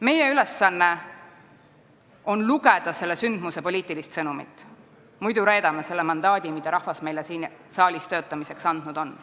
Meie ülesanne on lugeda selle sündmuse poliitilist sõnumit, muidu reedame selle mandaadi, mille rahvas meile siin saalis töötamiseks andnud on.